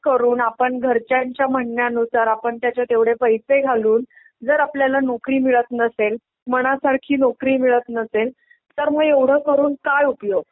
करून आपण घरच्यांच्या म्हणण्या नुसार आपण त्याच्यात एव्हडे पैसे घालून जर आपल्याला नोकरी मिळत नसेल, मना सारखी नोकरी मिळत नसेल तर मग एव्हडं करून काय उपयोग.